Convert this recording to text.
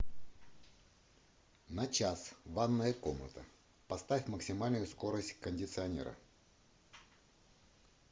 на час ванная комната поставь максимальную скорость кондиционера